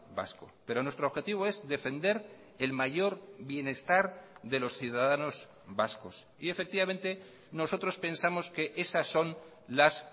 vasco pero nuestro objetivo es defender el mayor bienestar de los ciudadanos vascos y efectivamente nosotros pensamos que esas son las